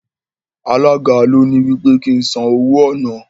Alága ló ní wí pé kí n san owó ọ̀nà.